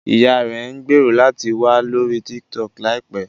Ìyá rẹ̀ ń gbèrò láti wà lórí TikTok láìpẹ́